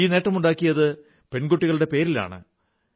ഈ നേട്ടമുണ്ടായത് പെൺകുട്ടികളുടെ പേരിലാണ്